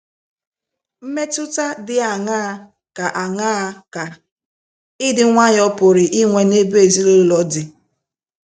Mmetụta dị aṅaa ka aṅaa ka ịdị nwayọọ pụrụ inwe n’ebe ezinụlọ dị?